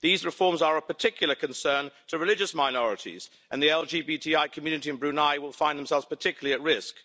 These reforms are of particular concern to religious minorities, and the LGBTI community in Brunei will find themselves particularly at risk.